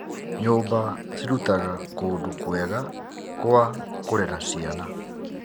Nyũmba cirutaga kũndũ kwega kwa kũrera ciana.